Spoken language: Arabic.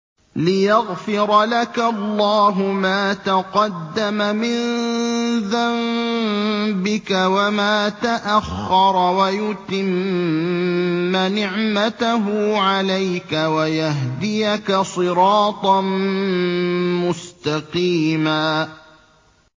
لِّيَغْفِرَ لَكَ اللَّهُ مَا تَقَدَّمَ مِن ذَنبِكَ وَمَا تَأَخَّرَ وَيُتِمَّ نِعْمَتَهُ عَلَيْكَ وَيَهْدِيَكَ صِرَاطًا مُّسْتَقِيمًا